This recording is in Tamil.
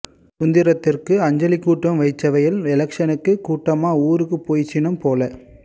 சுந்தரத்திற்கு அஞ்சலி கூட்டம் வைச்சவையல் எலெக்ஷன் னுக்கு கூட்டமா ஊருக்கு போயிற்றினம் போல